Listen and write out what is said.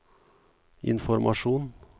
informasjon